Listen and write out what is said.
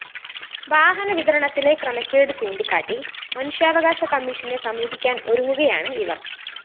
വാഹനവിതരണത്തിലെ ക്രമക്കേട് ചൂണ്ടിക്കാട്ടി മനുഷ്യാവകാശ കമ്മീഷനെ സമീപിക്കാനൊരുങ്ങുകയാണ് ഇവര്‍